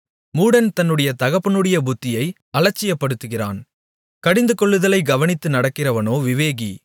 மூடன் தன்னுடைய தகப்பனுடைய புத்தியை அலட்சியப்படுத்துகிறான் கடிந்துகொள்ளுதலைக் கவனித்து நடக்கிறவனோ விவேகி